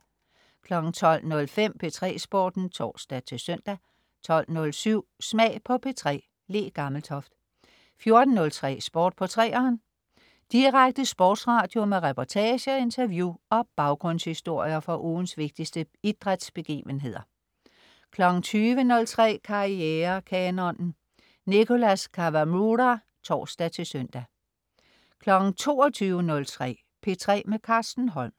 12.05 P3 Sporten (tors-søn) 12.07 Smag på P3. Le Gammeltoft 14.03 Sport på 3'eren. Sport på 3'eren. Direkte sportsradio med reportager, interview og baggrundshistorier fra ugens vigtigste idrætsbegivenheder 20.03 Karrierekanonen. Nicholas Kawamura (tors-søn) 22.03 P3 med Carsten Holm